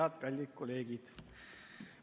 Head, kallid kolleegid!